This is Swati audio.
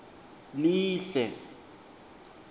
lihle